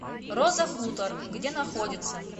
роза хутор где находится